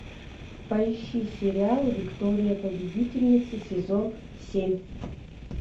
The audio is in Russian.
поищи сериал виктория победительница сезон семь